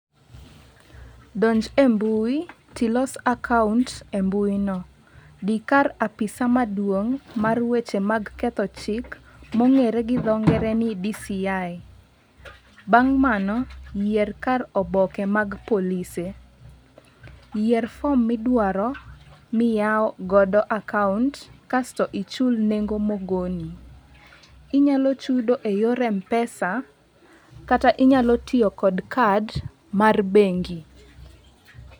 Donj e mbui, tilos akaont e mbui no. Dhi kar apisa maduong' mar weche mag ketho chik, mong'ere gi dho ngere ni DCI. Bang' mano, yier kar oboke mar polise. Yier fom midwaro, miyaw godo akaont, kasto ichul nengo ma ogo ni. Inyalo chudo e yor Mpesa kata inyalo tiyo kod kad mar bengi.